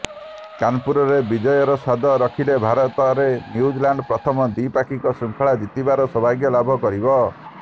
କାନପୁରରେ ବିଜୟର ସ୍ୱାଦ ଚାଖିଲେ ଭାରତରେ ନ୍ୟୁଜିଲାଣ୍ଡ ପ୍ରଥମ ଦ୍ୱିପାକ୍ଷିକ ଶୃଙ୍ଖଳା ଜିତିବାର ସୌଭାଗ୍ୟ ଲାଭ କରିବ